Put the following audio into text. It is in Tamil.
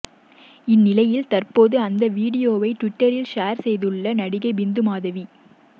இந்நிலையில் தற்போது அந்த வீடியோவை ட்விட்டரில் ஷேர் செய்துள்ள நடிகை பிந்து மாதவி